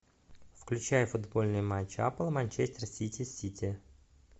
включай футбольный матч апл манчестер сити с сити